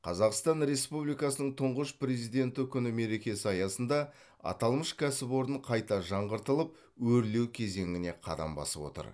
қазақстан республикасының тұңғыш президенті күні мерекесі аясында аталмыш кәсіпорын қайта жаңғыртылып өрлеу кезеңіне қадам басып отыр